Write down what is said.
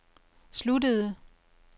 sluttede